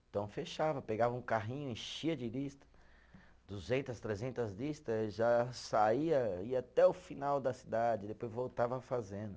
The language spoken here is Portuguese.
Então, fechava, pegava um carrinho, enchia de lista, duzentas, trezentas lista, já saía, ia até o final da cidade, depois voltava fazendo.